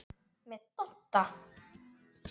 Með Dodda?